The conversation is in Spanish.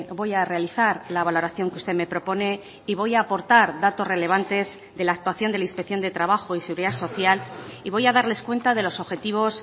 voy a realizar la valoración que usted me propone y voy a aportar datos relevantes de la actuación de la inspección de trabajo y seguridad social y voy a darles cuenta de los objetivos